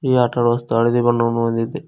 ಈ ಆಟ ಆಡುವ ಸ್ಥಳ ಹಳದಿ ಬಣ್ಣವನ್ನು ಹೊಂದಿದೆ.